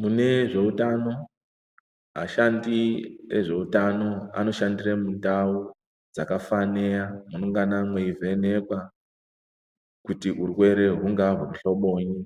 Mune zveutano ashandi ezveutano anoshandire mundau dzakafaneya kungana mweivhenekwa kuti urwere hungava weuhlobonyi